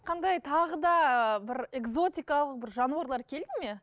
қандай тағы да ы бір экзотикалық бір жануарлар келді ме